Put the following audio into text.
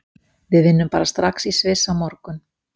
Við vinnum bara strax í Sviss á morgun.